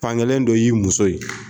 Fankelen dɔ y'i muso ye